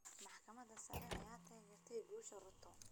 Maxkamadda sare ayaa taageertay guusha Ruto.